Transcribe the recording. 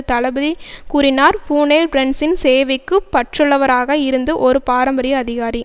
தளபதி கூறினார் பூனெல் பிரன்சின் சேவைக்கு பற்றுள்ளவராக இருந்து ஒரு பாரம்பரிய அதிகாரி